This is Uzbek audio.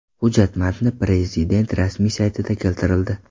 Hujjat matni Prezident rasmiy saytida keltirildi .